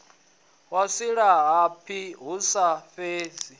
wa silahapani hu sa sedzwi